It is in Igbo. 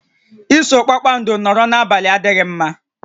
Iso kpakpando nọrọ n'abalị adịghị mma